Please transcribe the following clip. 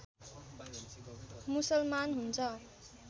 मुसलमान हुन्छ